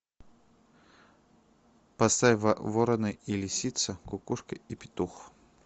поставь ворона и лисица кукушка и петух